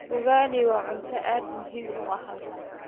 Ugali waa cunto aad muhiim u ah halkan